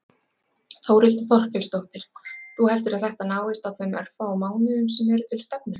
Þórhildur Þorkelsdóttir: Þú heldur að þetta náist á þeim örfáu mánuðum sem eru til stefnu?